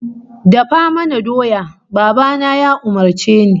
"Dafa mana doya", Baba na ya umurce ni.